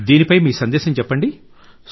దీనిపై మీ సందేశం చెప్పండి